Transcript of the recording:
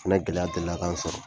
O fana gɛlɛya delila kan n sɔrɔ.